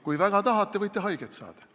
Kui väga tahate, võite haiget saada.